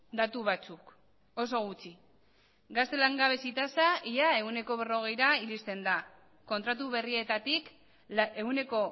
datu batzuk oso gutxi gazte langabezi tasa ia ehuneko berrogeira iristen da kontratu berrietatik ehuneko